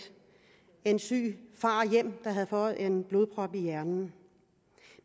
en syg far hjem der havde fået en blodprop i hjernen